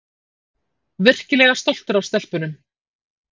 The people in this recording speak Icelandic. Virkilega stoltur af stelpunum